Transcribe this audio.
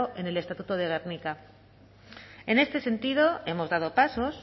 en el estatuto de gernika en este sentido hemos dado pasos